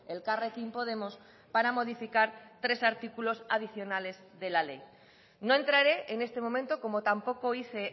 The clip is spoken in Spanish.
elkarrekin podemos para modificar tres artículos adicionales de la ley no entraré en este momento como tampoco hice